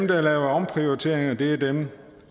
der laver omprioriteringer er dem